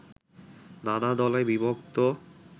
নানা দলে বিভক্ত